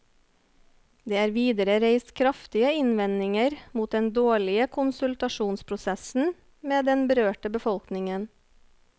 Det er videre reist kraftige innvendinger mot den dårlige konsultasjonsprosessen med den berørte befolkningen.